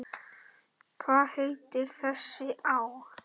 Hvað heitir þessi á?